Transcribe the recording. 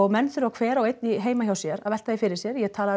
menn þurfa hver og einn heima hjá sér að velta því fyrir sér ég talaði